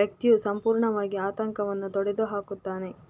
ವ್ಯಕ್ತಿಯು ಸಂಪೂರ್ಣವಾಗಿ ಆತಂಕವನ್ನು ತೊಡೆದುಹಾಕುತ್ತಾನೆ